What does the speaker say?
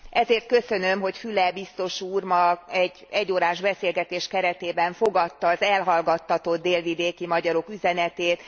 Ezért köszönöm, hogy Füle biztos úr ma egy egyórás beszélgetés keretében fogadta az elhallgattatott délvidéki magyarok üzenetét.